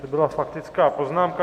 To byla faktická poznámka.